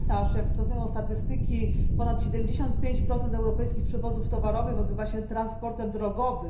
Jak wskazują statystyki, ponad 75 europejskich przewozów towarowych odbywa się transportem drogowym.